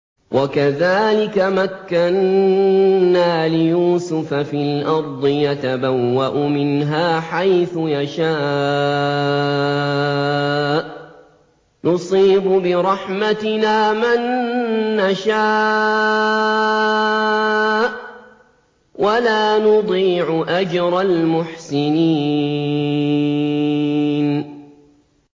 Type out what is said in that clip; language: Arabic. وَكَذَٰلِكَ مَكَّنَّا لِيُوسُفَ فِي الْأَرْضِ يَتَبَوَّأُ مِنْهَا حَيْثُ يَشَاءُ ۚ نُصِيبُ بِرَحْمَتِنَا مَن نَّشَاءُ ۖ وَلَا نُضِيعُ أَجْرَ الْمُحْسِنِينَ